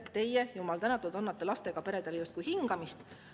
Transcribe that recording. Jumal tänatud, teie annate lastega peredele justkui hingamist.